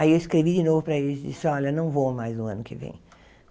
Aí eu escrevi de novo para eles e disse, olha, não vou mais no ano que vem.